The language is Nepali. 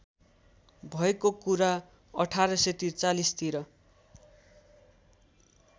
भएको कुरा १८४३ तिर